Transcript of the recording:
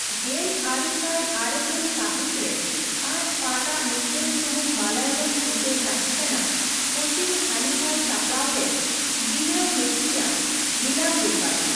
ᱜᱮᱞ ᱟᱨᱮ ᱥᱟᱭ ᱟᱨᱮ ᱜᱮᱞ ᱥᱟᱹᱦᱤᱛ ᱨᱮ ᱟᱡᱽ ᱯᱟᱴᱼᱟᱜ ᱢᱤᱫᱴᱟᱝ ᱥᱩᱢᱩᱝ ᱢᱟᱞᱚᱭᱟᱞᱚᱢ ᱪᱤᱛᱟᱹᱨ ᱛᱟᱦᱮᱸᱠᱟᱱᱟ ᱠᱳᱪᱤᱱ ᱦᱟᱱᱤᱯᱷᱟᱭ ᱥᱟᱯᱲᱟᱣ ᱞᱮᱫ ᱵᱤᱱᱟ ᱢᱮᱛᱛᱤᱭᱟ ᱵᱷᱤᱞᱟᱝᱜᱩᱠᱟᱞ ᱾